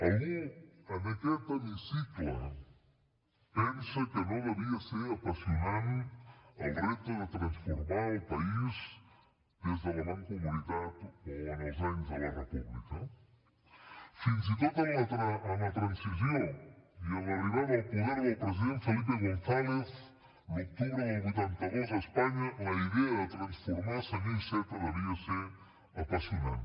algú en aquest hemicicle pensa que no devia ser apassionant el repte de transformar el país des de la mancomunitat o en els anys de la república fins i tot en la transició i amb l’arribada al poder del president felipe gonzález l’octubre del vuitanta dos a espanya la idea de transformar senyor iceta devia ser apassionant